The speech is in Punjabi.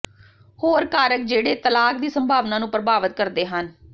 ਹੋਰ ਕਾਰਕ ਜਿਹੜੇ ਤਲਾਕ ਦੀ ਸੰਭਾਵਨਾ ਨੂੰ ਪ੍ਰਭਾਵਤ ਕਰਦੇ ਹਨ